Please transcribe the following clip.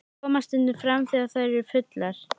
Koma stundum fram þegar þær eru fullar.